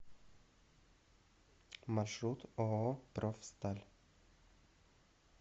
маршрут ооо профсталь